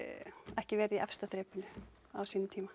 ekki verið í efsta þrepinu á sínum tíma